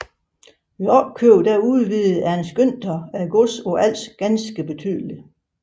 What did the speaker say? Ved opkøb udvidede Ernst Günther godset på Als ganske betydeligt